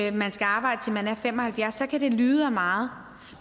at man skal arbejde til man er fem og halvfjerds år så kan det lyde af meget